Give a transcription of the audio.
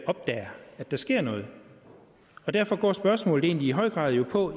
opdager at der sker noget derfor går spørgsmålet jo egentlig i høj grad på